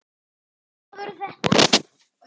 Hvaða maður er þetta?